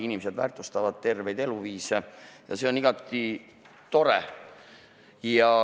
Inimesed väärtustavad terveid eluviise ja see on igati tore.